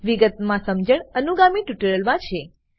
વિગતમા સમજણ અનુગામી ટ્યુટોરીયલમા છે